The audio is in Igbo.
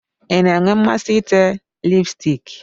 Ị na-enwe mmasị ite lipstiki?